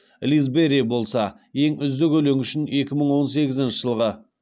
лиз берри болса ең үздік өлеңі үшін екі мың он сегізінші жылғы